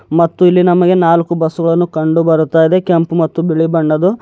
ಮತ್ತು ಇಲ್ಲಿ ನಮಗೆ ನಾಲ್ಕು ಬಸ್ಸು ಗಳನ್ನು ಕಂಡುಬರುತ್ತಾಯಿದೆ ಕೆಂಪು ಮತ್ತು ಬಿಳಿ ಬಣ್ಣದ್ದು.